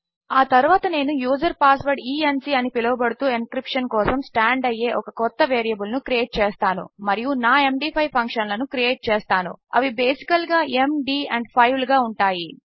ఆ తరువాత నేను user password e n c అని పిలవబడుతూ ఎన్క్రిప్షన్ కోసము స్టాండ్ అయ్యే ఒక క్రొత్త వేరియబుల్ ను క్రియేట్ చేస్తాను మరియు నా ఎండీ5 ఫంక్షన్లను క్రియేట్ చేస్తాను అవి బేసికల్ గా mdఅండ్ 5 లుగా ఉంటాయి